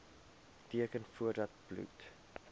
teken voordat bloed